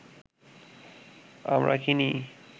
আমরা কিনি